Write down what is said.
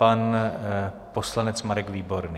Pan poslanec Marek Výborný.